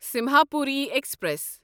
Simhapuri express